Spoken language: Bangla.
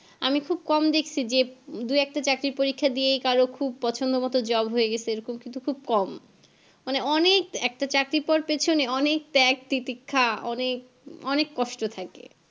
আমি খুব কম দেখছি যে দুই একটা চাকরির পরীক্ষা কারোর খুব পছন্দ মতো Job হইয়া গেছে এরকম কিন্তু অনেক কম মানে অনেক একটা চাকরির পর~ পেছনে অনেক ত্যাগ প্রতীক্ষা অনেক অনেক কষ্ট থাকে